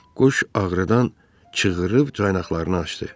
Quş ağrıdan çığırıb caynaqlarını açdı.